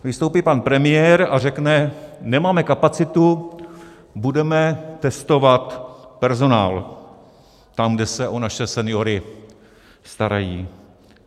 Vystoupí pan premiér a řekne: nemáme kapacitu, budeme testovat personál tam, kde se o naše seniory starají.